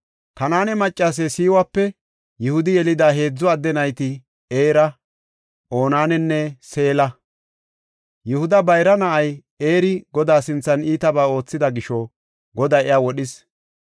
Kanaane maccase Sewape Yihudi yelida heedzu adde nayti Era, Onaananne Seela. Yihuda bayra na7ay Eri Godaa sinthan iitabaa oothida gisho Goday iya wodhis.